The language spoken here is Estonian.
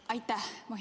Aitäh!